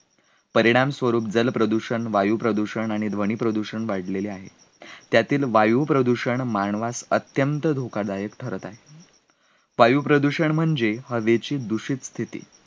परिणामस्वरूप जलप्रदूषण, वायुप्रदूषण आणि ध्वनिप्रदूषण वाढलेली आहे, त्यातील वायुप्रदूषण मानवास अत्यंत धोकादायक ठरत आहे, वायुप्रदूषण म्हणजे हावेची दुषित स्थिती